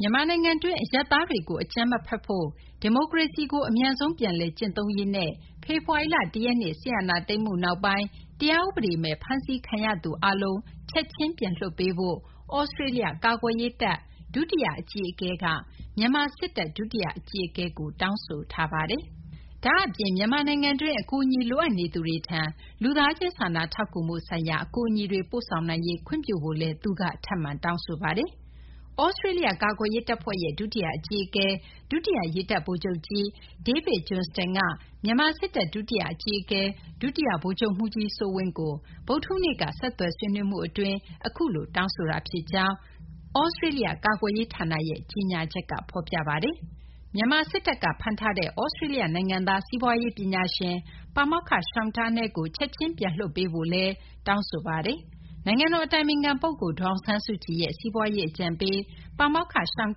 မြန်မာနိုင်ငံတွင်း အရပ်သားတွေကို အကြမ်းမဖက်ဖို့၊ ဒီမိုကရေစီကို အမြန်ဆုံး ပြန်လည် ကျင့်သုံးရေးနဲ့ ဖေဖော်ဝါရီလ ၁ ရက်နေ့ စစ်အာဏာသိမ်းမှု နောက်ပိုင်း တရားဥပဒေမဲ့ ဖမ်းဆီးခံထားရသူ အားလုံးကို ချက်ချင်း ပြန်လွှတ်ပေးဖို့ သြစတေးလျ ကာကွယ်ရေးတပ် ဒုတိယ အကြီးအကဲက မြန်မာ စစ်တပ် ဒုတိယ အကြီးအကဲကို တောင်းဆိုလိုက်ပါတယ်။ ဒါ့အပြင် မြန်မာနိုင်ငံတွင်းက အကူအညီ လိုအပ်နေသူတွေထံ လူသားချင်း စာနာထောက်ကူမှု ဆိုင်ရာ အကူအညီတွေ ပို့ဆောင်နိုင်ရေး ခွင့်ပြုဖို့လည်း သြစတေးလျ ကာကွယ်ရေး တပ်ဖွဲ့ ဒုတိယ အကြီးအကဲက ထပ်မံ တောင်းဆိုပါတယ်။ သြစတေးလျ ကာကွယ်ရေး တပ်ဖွဲ့ရဲ့ ဒုတိယ အကြီးအကဲ ဒုတိယ ရေတပ်ဗိုလ်ချုပ်ကြီး David Johnston က မြန်မာ စစ်တပ် ဒုတိယ အကြီးအကဲ ဒုတိယ ဗိုလ်ချုပ်မှူးကြီး စိုးဝင်းကို ဗုဒ္ဓဟူးနေ့က ဆက်သွယ်ဆွေးနွေးမှု အတွင်းမှာ အခုလို တောင်းဆိုခဲ့တာ ဖြစ်ကြောင်း သြစတေးလျ ကာကွယ်ရေး ဌာနရဲ့ ကြေညာချက်မှာ ဖော်ပြပါတယ်။ မြန်မာ စစ်တပ်က ဖမ်းထားတဲ့ သြစတေးလျ နိုင်ငံသား စီးပွားရေး ပညာရှင် ပါမောက္ခ Sean Turnell ကို ချက်ချင်း ပြန်လွှတ်ပေးဖို့ သြစတေးလျ ကာကွယ်ရေး တပ်ဖွဲ့ ဒုတိယ အကြီးအကဲက တောင်းဆိုထားပါတယ်။ နိုင်ငံတော် အတိုင်ပင်ခံ ပုဂ္ဂိုလ် ဒေါ်အောင်ဆန်းစုကြည်ရဲ့ စီးပွားရေး အကြံပေး ပါမောက္ခ Sean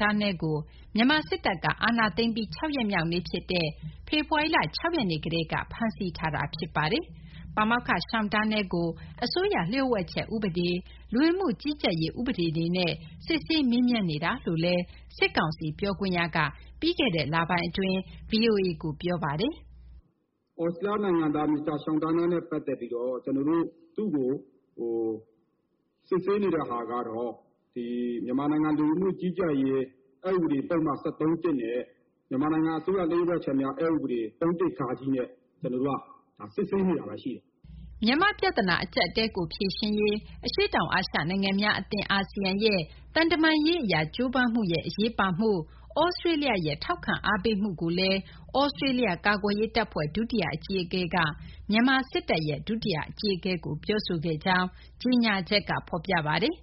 Turnell ကို မြန်မာ စစ်တပ်က အာဏာသိမ်းပြီး ၆ ရက်မြောက်နေ့ ဖြစ်တဲ့ ဖေဖော်ဝါရီလ ၆ ရက်နေ့ကတည်းက ဖမ်းဆီး ထိန်းသိမ်းထားတာ ဖြစ်ပါတယ်။ ပါမောက္ခ Sean Turnell ကို အစိုးရ လျို့ဝှက်ချက် ဥပဒေ၊ လူဝင်မှု ကြီးကြပ်ရေး ဥပဒေတွေနဲ့ စစ်ဆေးမေးမြန်းနေကြောင်း စစ်ကောင်စီ ပြောခွင့်ရက VOA ကို ပြောဆိုထားတာပါ။ " သြစတြေးလျနိုင်ငံသား Mr. Sean Turnell နဲ့ ပတ်သက်ပြီးတော့ သူ့ကို စစ်ဆေးနေတဲ့ဟာကတော့ မြန်မာနိုင်ငံလူဝန်မှုကြီးကြပ်ရေး အက် ဥပဒေပုဒ်မ ၁၃ (၁) နဲ့ မြန်မာနိုင်ငံအစိုးရ လျှို့ဝှက်ချက်များ အက် ဥပဒေ ၃/၁ ဃ နဲ့ ကျနော်တို့ စစ်ဆေးနေတာ ရှိပါတယ်။" မြန်မာ့ ပြဿနာ အကြပ်အတည်းကို ဖြေရှင်းရေး အရှေ့တောင် အာရှ နိုင်ငံများ အသင်း ASEAN ရဲ့ သံတမန်ရေး အရ ကြိုးပမ်းမှုရဲ့ အရေးပါမှုနဲ့ သြစတေးလျရဲ့ ထောက်ခံအားပေးမှုကိုလည်း သြစတေးလျ ကာကွယ်ရေး တပ်ဖွဲ့ ဒုတိယ အကြီးအကဲက မြန်မာ စစ်တပ် ဒုတိယ အကြီးအကဲကို ပြောဆိုခဲ့ကြောင်း ကြေညာချက်က ဖော်ပြပါတယ်